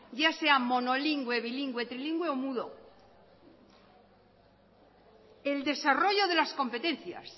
ya sea monolingüe bilingüe trilingüe o mudo el desarrollo de las competencias